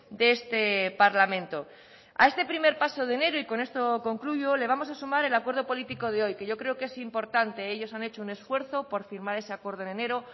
de este parlamento a este primer paso de enero y con esto concluyo le vamos a sumar el acuerdo político de hoy que yo creo que es importante ellos han hecho un esfuerzo por firmar ese acuerdo en enero